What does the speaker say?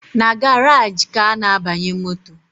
Na garaji ka a na-abanye moto